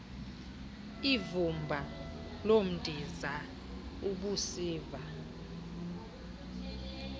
ivumba lomdiza ubusiva